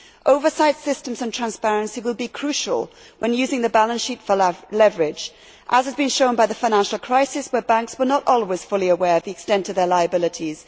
Oversight systems and transparency will be crucial when using the balance sheet for leverage, as has been shown by the financial crisis, where banks were not always fully aware of the extent of their liabilities.